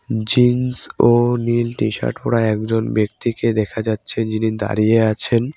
Jeans ও নীল T-shirt পরা একজন ব্যক্তিকে দেখা যাচ্ছে যিনি দাঁড়িয়ে আছেন।